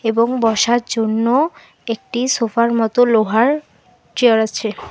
এবং বসার জন্য একটি সোফার মত লোহার চেয়ার আছে।